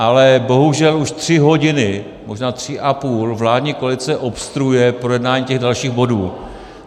Ale bohužel už tři hodiny, možná tři a půl, vládní koalice obstruuje projednání těch dalších bodů.